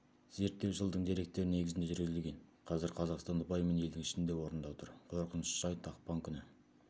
зерттеу жылдың деректері негізінде жүргізілген қазір қазақстан ұпайымен елдің ішінде орында тұр қорқынышты жайт ақпан күні